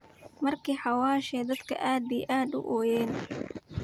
Marki xawashi dadhka aad iyo aad uu ooyeen.